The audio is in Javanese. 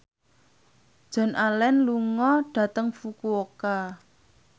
Joan Allen lunga dhateng Fukuoka